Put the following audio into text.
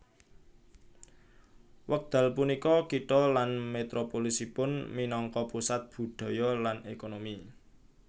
Wekdal punika kitha lan metropolisipun minangka pusat budhaya lan ékonomi